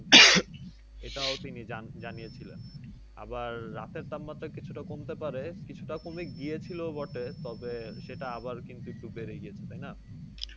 এটাও তিনি যানিয়েছিলেন। আমার রাতের তাপমাত্রা কিছুটা কমতে পারে কিছুটা কমে গিয়েছিল বটে। তবে সেটা আবার কিন্তু একটু বেড়ে গিয়েছে তাই না?